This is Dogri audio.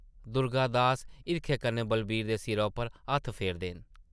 दुर्गा दास हिरखै कन्नै बलवीर दे सिरा उप्पर हत्थ फेरदे न ।